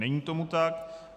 Není tomu tak.